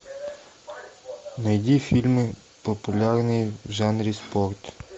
найди фильмы популярные в жанре спорт